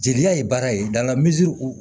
Jeliya ye baara ye